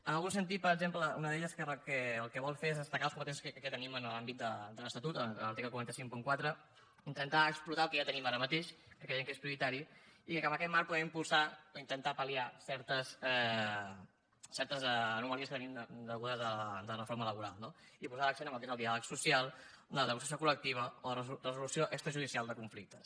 en algun sentit per exemple una d’elles que el que vol fer és destacar les competències que tenim en l’àmbit de l’estatut de l’article quatre cents i cinquanta quatre intentar explotar el que ja tenim ara mateix que creiem que és prioritari i que amb aquest marc podem impulsar o intentar pal·liar certes anomalies que tenim degudes a la reforma laboral no i posar l’accent en el que és el diàleg social en la negociació col·lectiva o la resolució extrajudicial de conflictes